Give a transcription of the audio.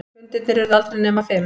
Fundirnir urðu aldrei nema fimm.